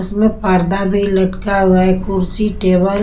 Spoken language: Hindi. उसमें पर्दा भी लटका हुआ है कुर्सी टेबल --